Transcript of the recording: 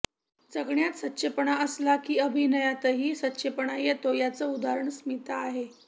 जगण्यात सच्चेपणा असला की अभिनयातही सच्चेपणा येतो याचं उदाहरण स्मिता आहे